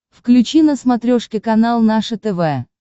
включи на смотрешке канал наше тв